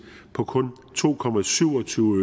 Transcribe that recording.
på kun to